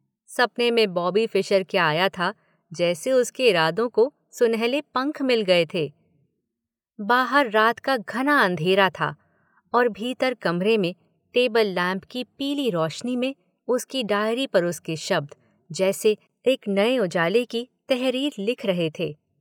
सपने में Bobby Fischer क्या आया था जैसे उसके इरादों को सुनहले पंख मिल गए थे – बाहर रात का घना अंधेरा था और भीतर कमरे में टेबल लैंप की पीली रोशनी में उसकी डायरी पर उसके शब्द जैसे एक नए उजाले की तहरीर लिख रहे थे